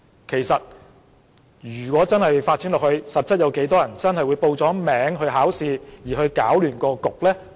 其實，事情發展下去，有多少市民真的會報名考試而又搗亂試場呢？